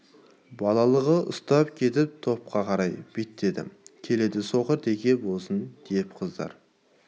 балалығы ұстап кетіп топқа қарай беттеді келеді соқыр теке болсын десіп қыздар